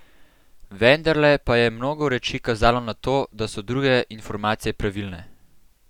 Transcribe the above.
Vendarle pa je mnogo reči kazalo na to, da so druge informacije pravilne.